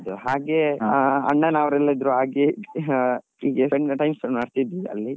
ಹಾಗೆ ಅಣ್ಣಾನವ್ರೆಲ್ಲಾ ಇದ್ರು ಹಾಗೆ ಅಹ್ ಹೀಗೆ time spend ಮಾಡ್ತಾ ಇದ್ವಿ ಅಲ್ಲಿ.